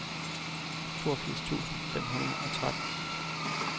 toogfirs tusind fem hundrede og tretten